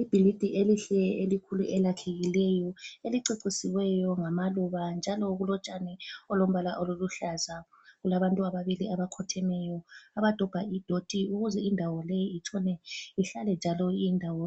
Ibhilidi elihle elikhulu elakhiweyo, elicecisiweyo ngama luba njalo kulotshani obulombala oluhlaza. Kulabantu ababili abakhothemeyo abadoba idoti ukuze indawo le itshone ihlale njalo iyindawo